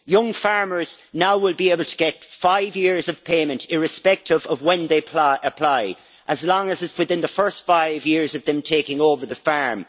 Young farmers now will be able to get five years of payment irrespective of when they apply, as long as it is within the first five years of their taking over the farm.